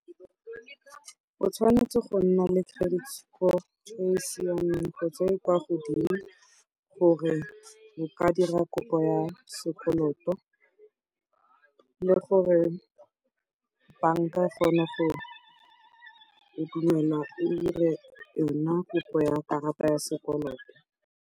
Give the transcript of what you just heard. O tshwanetse go nna le credit score e e siameng kgotsa e e kwa godimo gore o ka dira kopo ya sekoloto le gore banka e kgone go dumelelwa gore e dire yona kopo ya karata ya sekoloto.